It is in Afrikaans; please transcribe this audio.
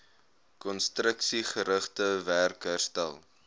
konstruksiegerigte werk herstel